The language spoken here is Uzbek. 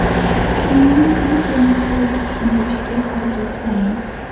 Fikrimni Belgiya misolida tushuntirishga harakat qilaman.